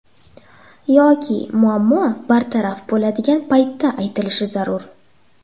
Yoki muammo bartaraf bo‘ladigan paytda aytilishi zarur.